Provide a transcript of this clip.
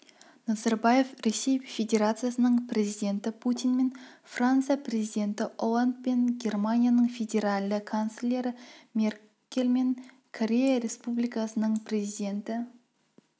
назарбаев ресей федерациясының президенті путинмен франция президенті олландпен германияның федеральды канцлері меркельмен корея республикасының президенті